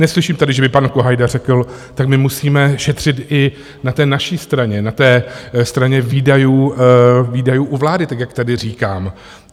Neslyším tady, že by pan Kohajda řekl - tak my musíme šetřit i na té naší straně, na té straně výdajů u vlády - tak jak tady říkám.